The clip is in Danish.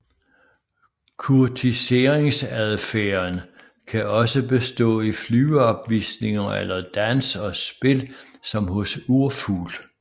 Kurtiseringsadfærden kan også bestå i flyveopvisninger eller dans og spil som hos urfugl